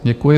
Děkuji.